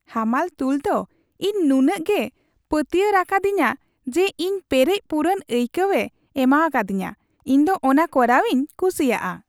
ᱦᱟᱢᱟᱞ ᱛᱩᱞ ᱫᱚ ᱤᱧ ᱱᱩᱱᱟᱹᱜᱮ ᱯᱟᱹᱛᱭᱟᱹᱨᱟᱠᱟᱫᱤᱧᱟ ᱡᱮ ᱤᱧ ᱯᱮᱨᱮᱡ ᱯᱩᱨᱩᱱ ᱟᱹᱭᱠᱟᱹᱣᱮ ᱮᱢᱟᱠᱟᱫᱤᱧᱟ ᱾ ᱤᱧ ᱫᱚ ᱚᱱᱟ ᱠᱚᱨᱟᱣᱤᱧ ᱠᱩᱥᱤᱭᱟᱜᱼᱟ ᱾